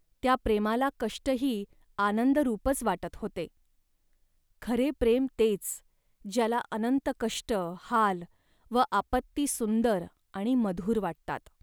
त्या प्रेमाला कष्टही आनंदरूपच वाटत होते. खरे प्रेम तेच, ज्याला अनंत कष्ट, हाल व आपत्ती सुंदर आणि मधुर वाटतात